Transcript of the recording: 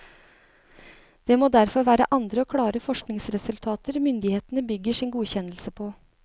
Det må derfor være andre og klare forskningsresultater myndighetene bygger sin godkjennelse på.